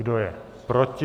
Kdo je proti?